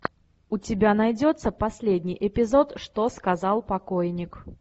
у тебя найдется последний эпизод что сказал покойник